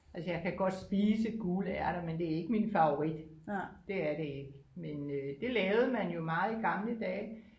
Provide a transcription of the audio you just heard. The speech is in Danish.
Altså jeg kan godt spise gule ærter men det er ikke min favorit det er det ikke men øh det lavede man jo meget i gamle dage